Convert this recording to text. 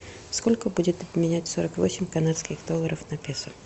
сколько будет обменять сорок восемь канадских долларов на песо